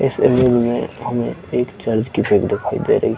इस सलून में हमें एक चर्च की फ्रेम दिखाई दे रही है।